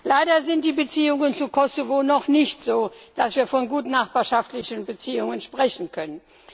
Leider sind die Beziehungen zu Kosovo noch nicht so, dass wir von gutnachbarschaftlichen Beziehungen sprechen könnten.